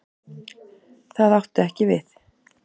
Það átti ekki við.